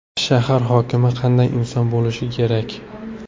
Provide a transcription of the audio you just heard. Shahar hokimi qanday inson bo‘lishi kerak?